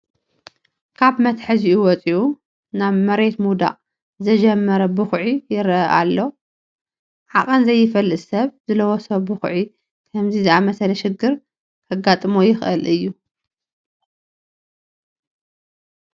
ካብ መትሓዚኡ ወፂኡ ናብ መሬት ምውዳቕ ዝጀመረ ብኩዒ ይርአ ኣሎ፡፡ ዓቐን ዘይፈልጥ ሰብ ዝለወሶ ቡክዒ ከምዚ ዝኣምሰለ ሽግር ከጋጥሞ ይኽእል እዩ፡፡